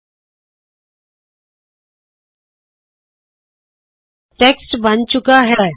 ਵੇੱਖੋ ਟੈੱਕਮਟ ਬਨ ਚੁੱਕਾ ਹੈ